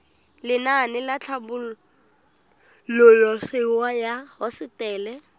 lenaane la tlhabololosewa ya hosetele